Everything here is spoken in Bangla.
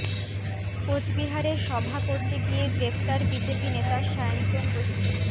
কোচবিহারে সভা করতে গিয়ে গ্রেফতার বিজেপি নেতা সায়ন্তন বসু